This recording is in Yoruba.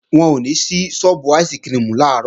Wọn ò ní sí sọ́ọ́bù áìsikirimù làárọ̀